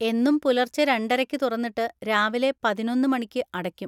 എന്നും പുലർച്ചെ രണ്ടരക്ക് തുറന്നിട്ട് രാവിലെ പതിനൊന്ന് മണിക്ക് അടക്കും.